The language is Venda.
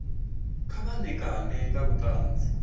kha vha ṋekane nga vhuṱanzi